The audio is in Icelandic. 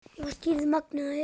Ég var skírð Magnea Elín.